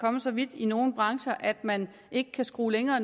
kommet så vidt i nogle brancher at man ikke kan skrue længere